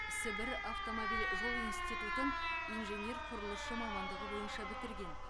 сібір автомобиль жол институтын инженер құрылысшы мамандығы бойынша бітірген